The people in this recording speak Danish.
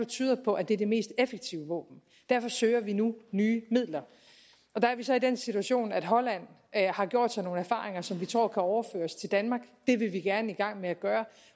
tyder på at det er det mest effektive våben derfor søger vi nu nye midler der er vi så i den situation at holland har gjort sig nogle erfaringer som vi tror kan overføres til danmark det vil vi gerne i gang med at gøre